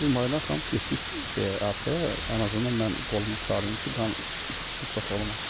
Dedim Aydan xanım, getdik şeyə arxaya, ən azından mən qolumu çarıyım ki, qan itkisi çox olmasın.